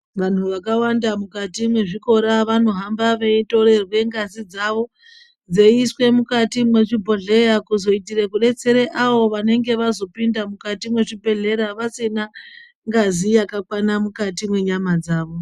Vanu vakawanda mukati mwezvikora vanohamba veitorerwe ngazi dzavo. Dzeiiswe mukati mwezvibhodhleya kuzoitire kudetsera avo vanenge vazopinde mukati mwechibhedhlera vasina ngazi yakakwana mukati mwenyama dzavo.